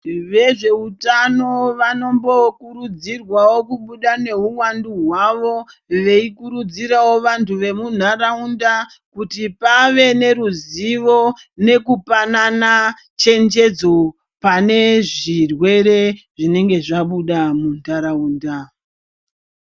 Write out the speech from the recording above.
Vezveutano vanombokurudzirwawo kubuda nehuwandu hwavo, veyikurudzirawo vantu vemunharaunda, kuti pave neruzivo nekupanana chenjedzo pane zvirwere zvinenge zvabuda mundaraunda.